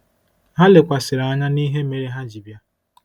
Ha lekwasịrị anya n’ihe mere ha ji bịa.